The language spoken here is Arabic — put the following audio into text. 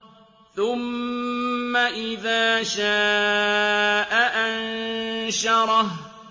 ثُمَّ إِذَا شَاءَ أَنشَرَهُ